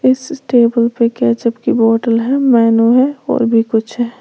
इस टेबल पर ketchup की बोतल है मैनू है और भी कुछ है।